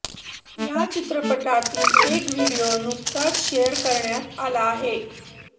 या चित्रपटातील एक व्हिडिओ नुकताच शेअर करण्यात आला आहे